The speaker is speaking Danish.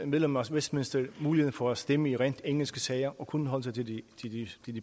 medlemmer af westminster muligheden for at stemme i rent engelske sager og kun holde sig til de